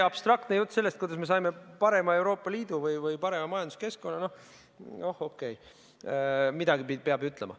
Abstraktne jutt sellest, kuidas me saime parema Euroopa Liidu või parema majanduskeskkonna – noh, okei, midagi peab ju ütlema.